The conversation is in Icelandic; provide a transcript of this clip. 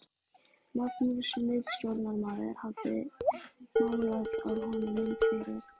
Magnús miðstjórnarmaður hafði málað af honum mynd fyrir